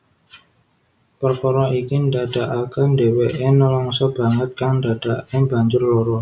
Perkara iki ndadekake dheweke nelangsa banget kang ndadekake banjur lara